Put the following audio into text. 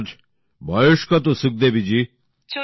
আপনার বয়স কত সুখদেবীজি